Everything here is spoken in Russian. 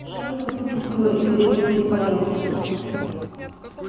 шайка выпустила из крепости в порядке